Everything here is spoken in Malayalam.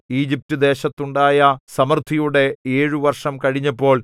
ഈജിപ്റ്റുദേശത്തുണ്ടായ സമൃദ്ധിയുടെ ഏഴു വർഷം കഴിഞ്ഞപ്പോൾ